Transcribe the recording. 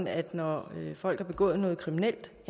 at når folk har begået noget kriminelt